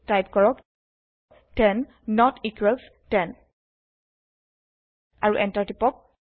type কৰক 10 নত equals 10 আৰু এন্টাৰ টিপক